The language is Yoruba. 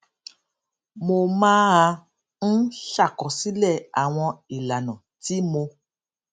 mo máa ń ṣàkọsílè àwọn ìlànà tí mo